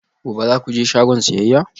Gobe ​​za ku je shagon siyayya?